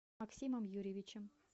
максимом юрьевичем